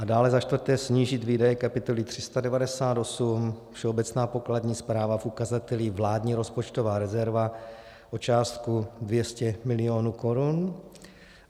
A dále, za čtvrté, snížit výdaje kapitoly 398 Všeobecná pokladní správa v ukazateli vládní rozpočtová rezerva o částku 200 milionů korun.